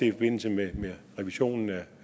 i forbindelse med revisionen af